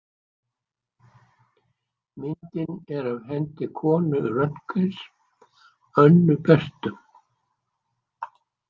Myndin er af hendi konu Röntgens, Önnu Berthu.